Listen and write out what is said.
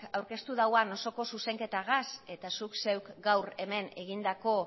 aurkeztu dauan osoko zuzenketagaz eta zuk zeuk gaur hemen egindako